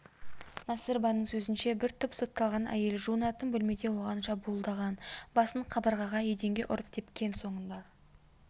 насырованың сөзінше бір топ сотталған әйел жуынатын бөлмеде оған шабуылдаған басын қабырғаға еденге ұрып тепкен соңында